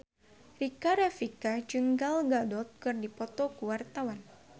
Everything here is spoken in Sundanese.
Rika Rafika jeung Gal Gadot keur dipoto ku wartawan